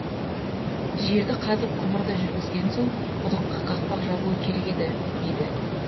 жерді қазып құбырды жүргізген соң құдыққа қақпақ жабуы керек еді дейді